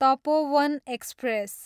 Tapovan express